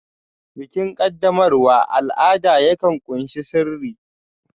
Bikin qaddamarwa al'ada yakan ƙunshi sirri